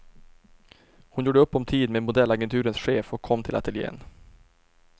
Hon gjorde upp om tid med modellagenturens chef och kom till ateljen.